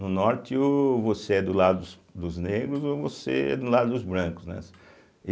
No Norte, ou você é do lado dos dos negros ou você é do lado dos brancos, né.